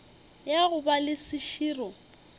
ya go ba le seširo